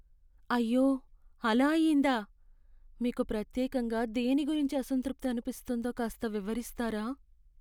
అయ్యో అలా అయిందా. మీకు ప్రత్యేకంగా దేని గురించి అసంతృప్తి అనిపిస్తోందో కాస్త వివరిస్తారా?